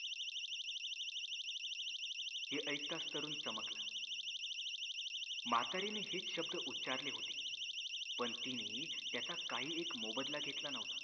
हे ऐकताच तरुण चमकला म्हातारीने हेच शब्द उच्चारले होते पण तिने त्याचा काहीही एक मोबदला घेतला नव्हता